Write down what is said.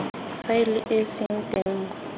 faele e seng teng mo